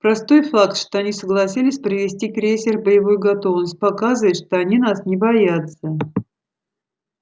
простой факт что они согласились привести крейсер в боевую готовность показывает они нас боятся